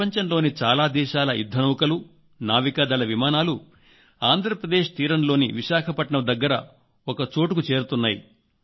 ప్రపంచంలోని చాలా దేశాల యుద్ధనౌకలు నావికాదళ విమానాలు ఆంధ్రప్రదేశ్ తీరంలోని విశాఖపట్టణం దగ్గర ఒక్కచోటుకు చేరుతున్నాయి